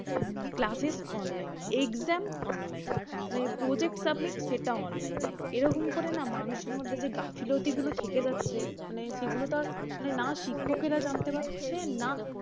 classes online exam online মানে project submit সেটাও online. এরকম করে না মানুষের মধ্যে যে গাফিলতিগুলো থেকে যাচ্ছে মানে সেগুলো তো আর মানে না শিক্ষকেরআ জানতে পারছে না